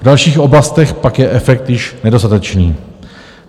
V dalších oblastech je pak efekt již nedostatečný.